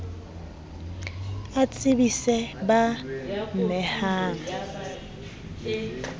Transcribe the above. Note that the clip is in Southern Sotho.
a tsebise b a mehang